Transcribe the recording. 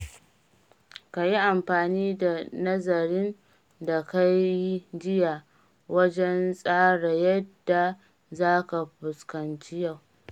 Ka yi amfani da nazarin da ka yi jiya wajen tsara yadda za ka fuskanci yau.